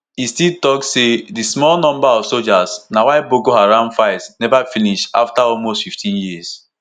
e still tok say di small number of soldiers na why boko haram fight neva finish afta almost 15 years.